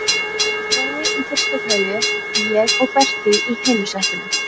Brói í fyrstu koju, ég og Berti í hinu settinu.